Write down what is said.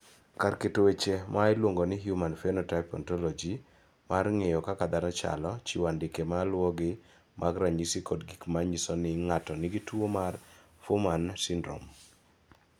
Kar keto weche ma iluongo ni Human Phenotype Ontology mar ng�eyo kaka dhano chalo, chiwo andike ma luwogi mag ranyisi kod gik ma nyiso ni ng�ato nigi tuo mar Fuhrmann syndrome.